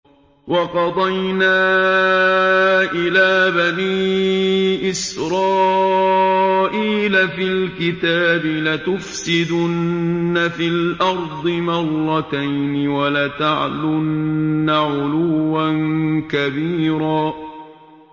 وَقَضَيْنَا إِلَىٰ بَنِي إِسْرَائِيلَ فِي الْكِتَابِ لَتُفْسِدُنَّ فِي الْأَرْضِ مَرَّتَيْنِ وَلَتَعْلُنَّ عُلُوًّا كَبِيرًا